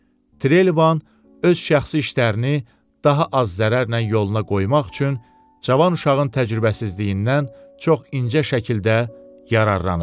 Trelevan öz şəxsi işlərini daha az zərərlə yoluna qoymaq üçün cavan uşağın təcrübəsizliyindən çox incə şəkildə yararlanıb.